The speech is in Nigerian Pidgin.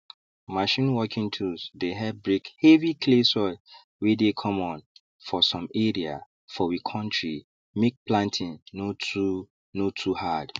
machine working tools dey help break heavy clay soil wey dey common for some area for we kontri make planting no too no too hard